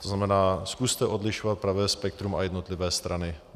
To znamená, zkuste odlišovat pravé spektrum a jednotlivé strany.